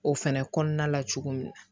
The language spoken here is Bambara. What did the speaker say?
O fɛnɛ kɔnɔna la cogo min na